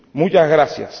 Muchas gracias.